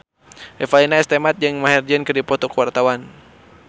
Revalina S. Temat jeung Maher Zein keur dipoto ku wartawan